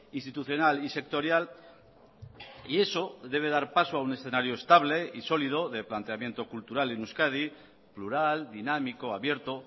institucional y sectorial y eso debe dar paso a un escenario estable y sólido de planteamiento cultural en euskadi plural dinámico abierto